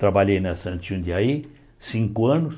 Trabalhei na Santos Jundiaí cinco anos.